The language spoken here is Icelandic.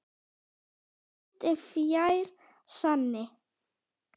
Ekkert er fjær sanni.